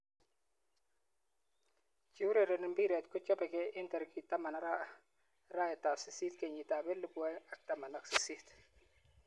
Cheurereni mpiret kochopekei eng tarik taman arawet ab sist kenyit ab elipu aeng ak taman ak sisit.